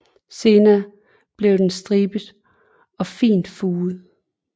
Senere bliver den stribet og fint furet